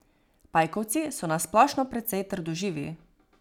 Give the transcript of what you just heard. Pajkovci so na splošno precej trdoživi.